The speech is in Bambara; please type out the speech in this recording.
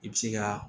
I bɛ se ka